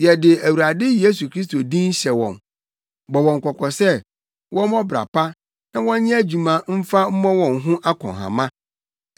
Yɛde Awurade Yesu Kristo din hyɛ wɔn, bɔ wɔn kɔkɔ sɛ wɔmmɔ ɔbra pa na wɔnyɛ adwuma mfa mmɔ wɔn ho akɔnhama.